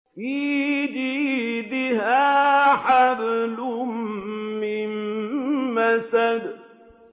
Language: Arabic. فِي جِيدِهَا حَبْلٌ مِّن مَّسَدٍ